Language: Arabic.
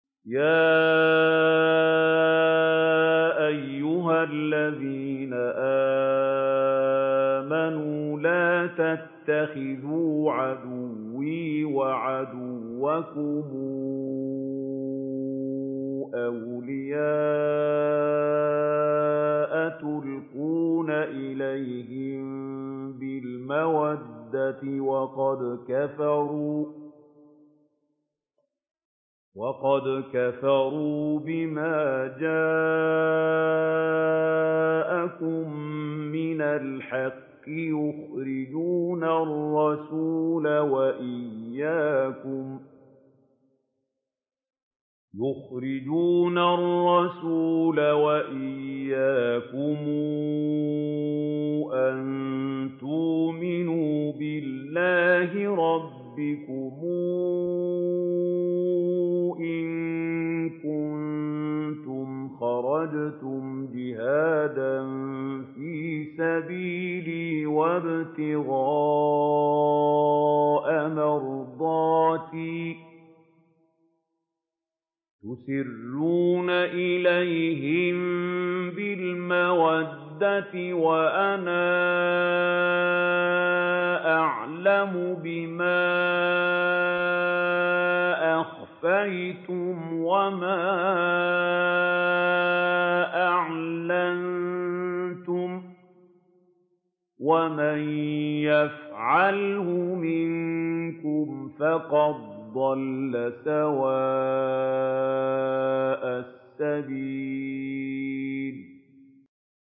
يَا أَيُّهَا الَّذِينَ آمَنُوا لَا تَتَّخِذُوا عَدُوِّي وَعَدُوَّكُمْ أَوْلِيَاءَ تُلْقُونَ إِلَيْهِم بِالْمَوَدَّةِ وَقَدْ كَفَرُوا بِمَا جَاءَكُم مِّنَ الْحَقِّ يُخْرِجُونَ الرَّسُولَ وَإِيَّاكُمْ ۙ أَن تُؤْمِنُوا بِاللَّهِ رَبِّكُمْ إِن كُنتُمْ خَرَجْتُمْ جِهَادًا فِي سَبِيلِي وَابْتِغَاءَ مَرْضَاتِي ۚ تُسِرُّونَ إِلَيْهِم بِالْمَوَدَّةِ وَأَنَا أَعْلَمُ بِمَا أَخْفَيْتُمْ وَمَا أَعْلَنتُمْ ۚ وَمَن يَفْعَلْهُ مِنكُمْ فَقَدْ ضَلَّ سَوَاءَ السَّبِيلِ